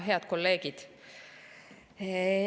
Head kolleegid!